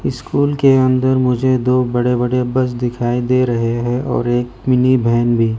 School के अंदर मुझे दो बड़े बड़े बस दिखाई दे रहे हैं और एक मिनी वेन भी।